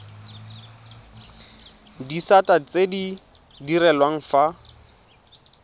disata tse di direlwang fa